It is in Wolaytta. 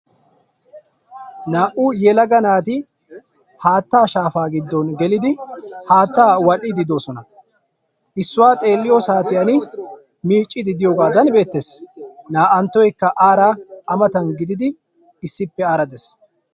Naa"u yelaga naati haattaa shaafa giddon gelidi haattaa wadhdhiidi doosona; issuwa xeeliyo saatiyan miiciiddi diyogadan beettes; na'anttoyikka aara a matan gididi issippe aara des.